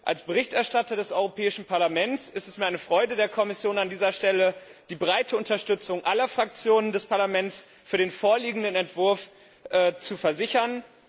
Als Berichterstatter des Europäischen Parlaments ist es mir eine Freude, der Kommission an dieser Stelle die breite Unterstützung aller Fraktionen des Parlaments für den vorliegenden Entwurf zu versichern.